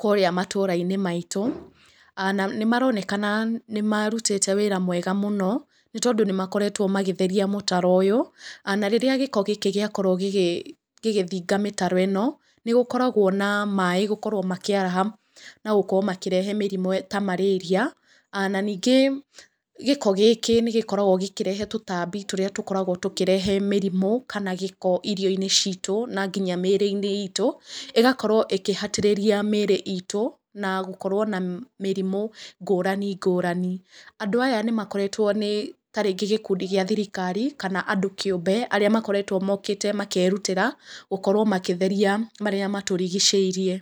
kũrĩa matũũra-inĩ maitũ. Na nĩ maronekana nĩ marutĩte wĩra mwega mũno, nĩ tondũ nĩ makoretwo magĩtheria mũtaro ũyũ, na rĩrĩa gĩko gĩkĩ gĩakorwo gĩgĩthinga mĩtaro ĩno, nĩ gũkoragwo na maaĩ gũkorwo makĩaraha, na gũkorwo makĩrehe mĩrimũ ya marĩria. Na ningĩ gĩko gĩkĩ nĩ gĩkoragwo gĩkĩrehe tũtambi tũrĩa tũkoragwo tũkĩrehe mĩrimũ, kana gĩko irio-inĩ ciitũ, na nginya mĩĩrĩ-inĩ iitũ, ĩgakorwo ĩkĩhatĩrĩria mĩĩrĩ iitũ, na gũkorwo na mĩrimũ ngũrani ngũrani. Andũ aya nĩ makoretwo nĩ ta rĩngĩ gĩkundi gĩa thirikari, kana andũ kĩũmbe arĩa makoretwo mokĩte makĩrutĩra, gũkorwo makĩtheria marĩa matũrigicĩirie.